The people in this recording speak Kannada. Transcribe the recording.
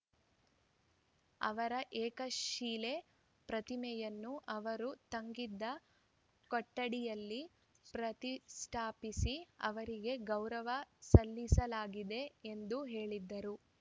ಅವರ ಏಕಶಿಲೆ ಪ್ರತಿಮೆಯನ್ನು ಅವರು ತಂಗಿದ್ದ ಕೊಠಡಿಯಲ್ಲಿ ಪ್ರತಿಸ್ಠಾಪಿಸಿ ಅವರಿಗೆ ಗೌರವ ಸಲ್ಲಿಸಲಾಗಿದೆ ಎಂದು ಹೇಳಿದರು